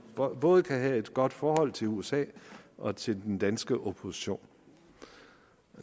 både kunne have et godt forhold til usa og til den danske opposition